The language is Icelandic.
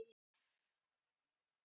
Lýst eftir eigendum óskilamuna